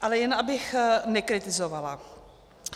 Ale jen abych nekritizovala.